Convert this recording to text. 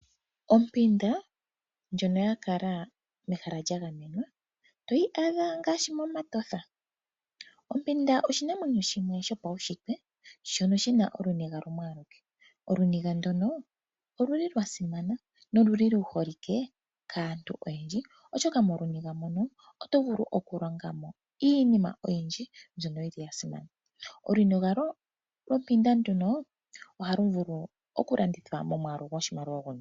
Ompanda ndjoka kala mehala lya gamenwa oto yi adha ngaashi mOmatotha. Ompanda oshinamwenyo shimwe shopashitwe shono shi na oniga yimwe. Oniga ndjono oya simana noyi holike kaantu oyendji, oshoka moniga moka oto vulu okulonga mo iinima oyindji mbyoka ya simana. Oniga yompanda ndjino ohayi vulu okulandithwa momwaalu goshimaliwa oshindji.